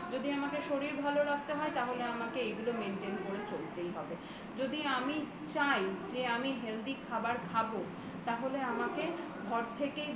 যদি আমাকে শরীর ভালো রাখতে হয় তাহলে আমাকে এইগুলো maintain করে চলতেই হবে যদি আমি চাই যে আমি healthy খাবার খাবোতাহলে আমাকে ঘর থেকেই